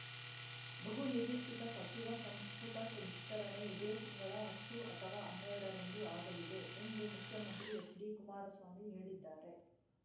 ಬಹುನಿರೀಕ್ಷಿತ ಸಚಿವ ಸಂಪುಟ ವಿಸ್ತರಣೆ ಇದೇ ತಿಂಗಳ ಹತ್ತು ಅಥವಾ ಹನ್ನೆರಡರಂದು ಆಗಲಿದೆ ಎಂದು ಮುಖ್ಯಮಂತ್ರಿ ಎಚ್‌ಡಿಕುಮಾರಸ್ವಾಮಿ ಹೇಳಿದ್ದಾರೆ